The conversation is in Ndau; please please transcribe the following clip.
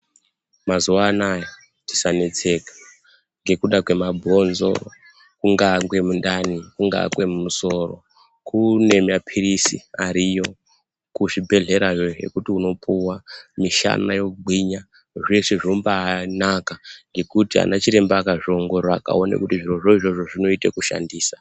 Mazuva anaya tisanetseka ngekuda kwemabhonzo, kungaa kwemundani, kungaa kwemusoro. Kune maphirizi ariyo kuzvibhedhlerayo iyo ekuti unopuwa, mishana yogwinya. Zveshe zvombaanaka ngekuti ana chiremba akazviongorora akaone kuti zvirozvo izvozvo zvinoite kushandisa.